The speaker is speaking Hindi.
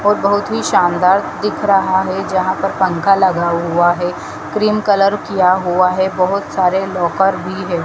और बहोत ही शानदार दिख रहा है जहाँ पर पंखा लगा हुआ है क्रीम कलर किया हुआ है बहोत सारे लॉकर भी है।